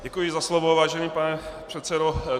Děkuji za slovo, vážený pane předsedo.